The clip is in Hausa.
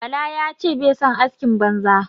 Bala ya ce bai son askin banza.